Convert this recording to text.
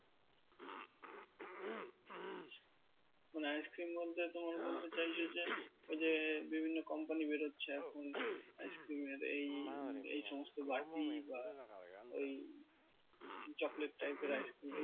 মানে ice cream বলতে তোমার বলতে চাইছো যে ওই যে বিভিন্ন company বেরোচ্ছে এখন ice cream এর এই এই সমস্ত বাটি বা ওই chocolate type এর ice cream এই